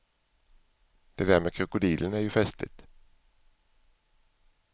Det där med krokodilen är ju festligt.